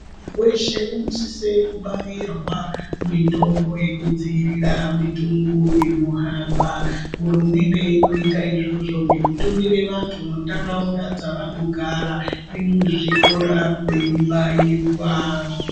Weshe unosise kubairwa mitombo yekudziirira mitundu inohamba hurumende inoite izvozvo ngekutumire vantu mundaraunda dzavanogara nekuzvikora veibairwa.